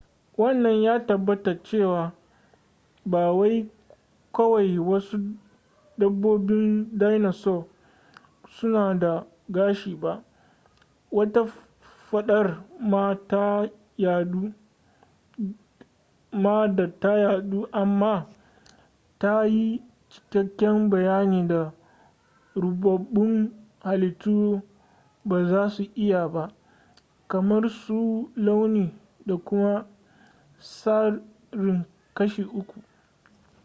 wannan ya tabbatar cewa ba wai kawai wasu dabbobin dinasour suna da gashi ba wata fadar ma da ta yadu amma ta yi cikakken bayanin da rubabbun halittu ba za su iya ba kamar su launi da kuma tsarin kashi uku